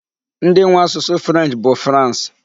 Ndị nwe asụsụ 'French bụ France.